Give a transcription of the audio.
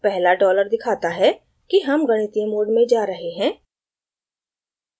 पहला dollar दिखाता है कि हम गणितीय mode में जा रहे हैं